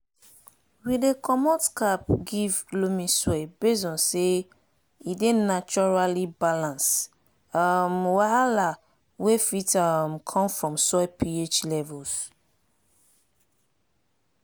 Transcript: we dey comot cap give loamy soil based on say e dey naturaly balance um wahala wey fit um come from soil ph levels